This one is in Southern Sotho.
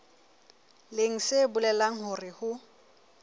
leng se bolelang hore ho